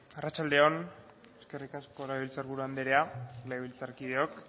arratsalde on eskerrik asko legebiltzar buru andrea legebiltzarkideok